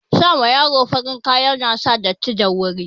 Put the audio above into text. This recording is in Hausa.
Sa ma yaro farin kaya na sa datti da wuri